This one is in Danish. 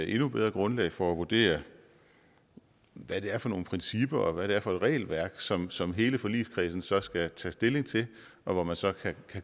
endnu bedre grundlag for at vurdere hvad det er for nogle principper og hvad det er for et regelværk som som hele forligskredsen så skal tage stilling til og hvor man så kan